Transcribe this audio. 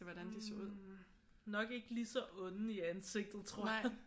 Hm nok ikke lige så onde i ansigtet tror jeg